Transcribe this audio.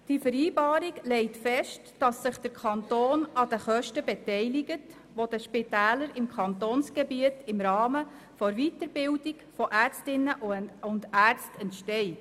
Die Vereinbarung legt fest, dass sich der Kanton an den Kosten beteiligt, die den Spitälern im Kantonsgebiet im Rahmen der Weiterbildung von Ärztinnen und Ärzten entsteht.